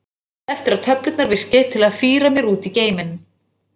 Bíða eftir að töflurnar virki til að fíra mér út í geiminn.